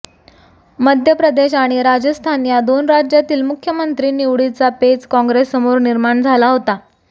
मध्य प्रदेश आणि राजस्थान या दोन राज्यातील मुख्यमंत्री निवडीचा पेच काँग्रेससमोर निर्माण झाला होता